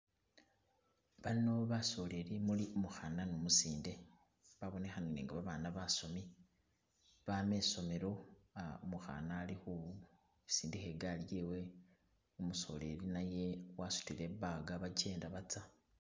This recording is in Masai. Bano basoleli umuli umkukhana ne umusinde babonekhanile nga babaana basomi baama esomelo , ah umukhana ali khisindikha igaali yewe , umusoleli naye wasutile i'bag bakyenda batsa.